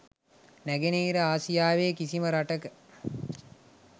නෑගෙනහිර ආසියාවේ කිසිම රටක